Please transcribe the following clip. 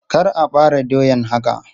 Kar a bare doyan haka!